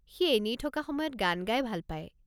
সি এনেই থকা সময়ত গান গাই ভাল পায়।